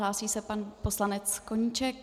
Hlásí se pan poslanec Koníček.